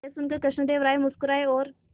यह सुनकर कृष्णदेव राय मुस्कुराए और